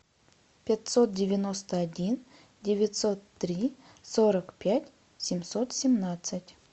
пятьсот девяносто один девятьсот три сорок пять семьсот семнадцать